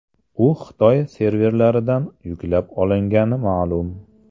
U Xitoy serverlaridan yuklab olingani ma’lum.